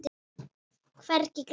Hvergi glæta.